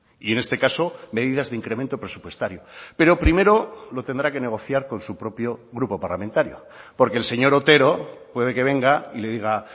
y en este caso medidas de incremento presupuestario pero primero lo tendrá que negociar con su propio grupo parlamentario porque el señor otero puede que venga y le diga